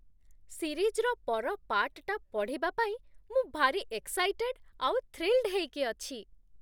ସିରିଜ୍‌ର ପର ପାର୍ଟ୍‌ଟା ପଢ଼ିବା ପାଇଁ ମୁଁ ଭାରି ଏକ୍ସାଇଟେଡ୍ ଆଉ ଥ୍ରୀଲ୍ଡ ହେଇକି ଅଛି!